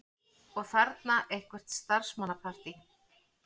Og þarna eitthvert starfsmannapartí.